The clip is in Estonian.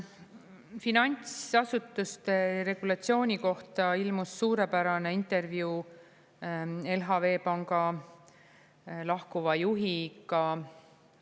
Finantsasutuste regulatsiooni kohta ilmus suurepärane intervjuu LHV Panga lahkuva juhiga.